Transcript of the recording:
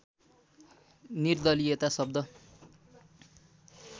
निर्दलियता शब्द